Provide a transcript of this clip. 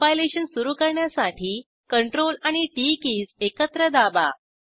compilation सुरू करण्यासाठी CTRL आणि टीटी किज् एकत्र दाबा